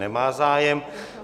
Nemá zájem.